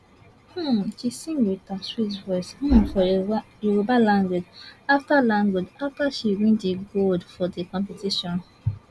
um she sing wit her sweet voice um for yoruba language afta language afta she win di gold for di competition